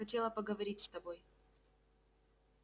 хотела поговорить с тобой